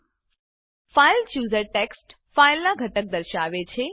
file chooser file chooser text ફાઈલનાં ઘટક દર્શાવે છે